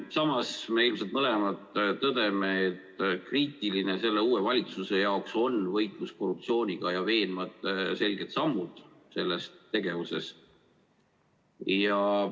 Samas me ilmselt mõlemad tõdeme, et uue valitsuse jaoks on kriitilise tähtsusega võitlus korruptsiooniga ja veenvad selged sammud selles tegevuses.